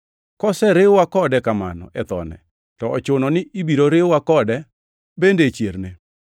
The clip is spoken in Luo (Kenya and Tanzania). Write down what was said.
Koseriw-wa kode kamano e thone, to ochuno ni ibiro riwwa kode bende e chierne.